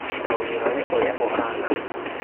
Ta wĩrore ũrĩa ũhana.